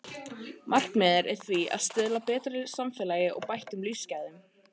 Markmiðið er því að stuðla að betra samfélagi og bættum lífsgæðum.